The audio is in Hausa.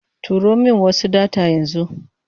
Turo min wasu data yanzu.